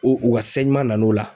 O o ka se sɛgiman na n'o la